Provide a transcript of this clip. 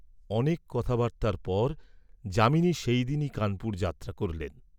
অনেক কথাবার্ত্তার পর যামিনী সেইদিনই কানপুর যাত্রা করিলেন।